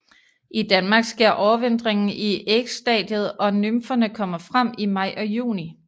I Danmark sker overvintringen i ægstadiet og nymferne kommer frem i maj og juni